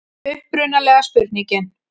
Upprunalega spurningin: